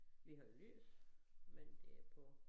Vi har jo lys men det på